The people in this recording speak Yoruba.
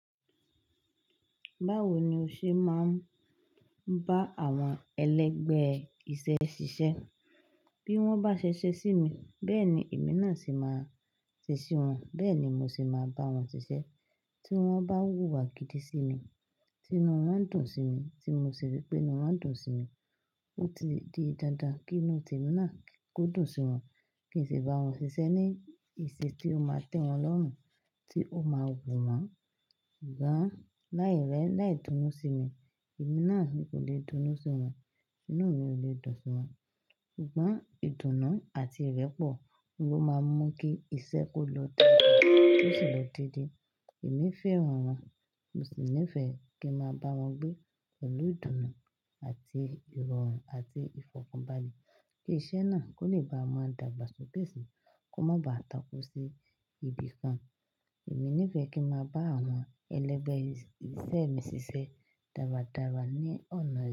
Báwo ni o ṣe máa ń bá àwọn ẹlẹgbẹ́ iṣẹ́ ṣiṣẹ́? Bí wọ́n bá ṣẹ̀ṣẹ̀ sí mi, bẹ́ẹ̀ ni èmi náà se máa ṣe ṣi wọ́n. Bẹ́ẹ̀ ni mo sì máa bá wọn ṣiṣẹ́. Tí wọ́n bá wùwà gìdí sí mi, tí inú wọn dùn sí mi, tí mo sì rí pé inú wọn dùn sí mi, ó ti di dandan kí inú temi náà kò dùn sí wọn. Kì í sì bá wọn ṣiṣẹ́ ní, ìṣe tí ó máa tẹ́ wọn lọ́rún, tí ó máa wù wọ́n. Ṣùgbọ́n láì rẹ̀, láì dunú sí mi, èmi náà mì kò lè dunú sí wọn, inú mi ò lè dùn sí wọn. Ṣùgbọ́n ìdùnnú àti ìrẹ́pọ̀ ni ó máa ń mú kí iṣẹ́ kó lọ daadaa, kó sì lọ dédé. Èmi fẹ́ran wọn, mo sì nífẹ̀ẹ́ kí n máa bá wọn gbé pẹ̀lú ìdùnnú àti ìrọ̀rùn àti ìfọ̀kànbalẹ̀ kí iṣẹ́ náà kó lè bá a máa dàgbà sókè síi, kó má ba à takú sí ibìkan. Èmi nífẹ̀ẹ́ kí n máa bá àwọn ẹlẹgbẹ́ iṣẹ́ mi ṣiṣẹ́ dáradára ní ọ̀nà yìí.